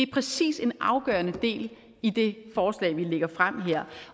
præcis en afgørende del i det forslag vi lægger frem her